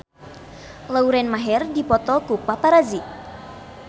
Lauren Maher dipoto ku paparazi